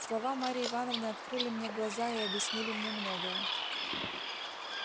слова марьи ивановны открыли мне глаза и объяснили мне многое